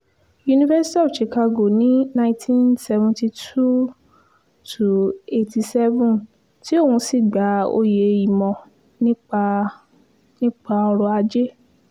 university of chicago ní 1972-87 tí òun sì gba oyè ìmọ̀ nípa nípa ọrọ̀ ajé